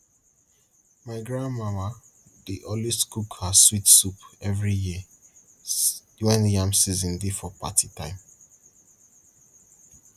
my grandmama dey always cook her sweet soup every year when yam season dey for party time